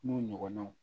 N'u ɲɔgɔnnaw